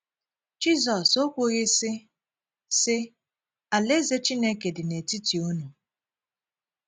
Jizọs ó kwughị, sị sị: “ Alaeze Chineke dị n’etiti unu ”?